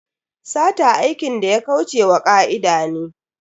Sata aikin da ya kauce wa ka'ida ne.